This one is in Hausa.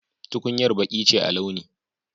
Tukuyar Baki ce a launi.